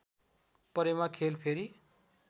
परेमा खेल फेरि